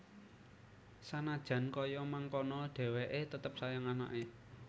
Sanajan kaya mangkono dheweke tetep sayang anake